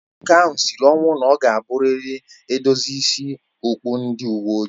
Nwoke ahụ sịrị ọnwụ na ọ ga abụ rịrị edozi ịsị okpụ ndị uwe ojii